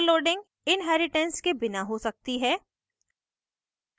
overloading inheritance के बिना हो सकती है